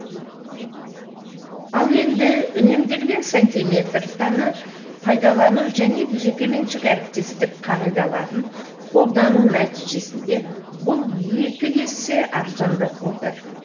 ал енді үнемделген сантиметретаны пайдалану және жекеменшік әріптестік қағидаларын қолдану нәтижесінде бұл екі есе арзандап отыр